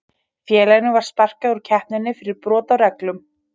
Félaginu var sparkað úr keppninni fyrir brot á reglum.